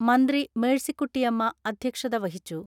മന്ത്രി മേഴ്സികുട്ടിയമ്മ അധ്യക്ഷത വഹിച്ചു.